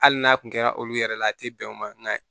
Hali n'a tun kɛra olu yɛrɛ la a tɛ bɛn o ma nka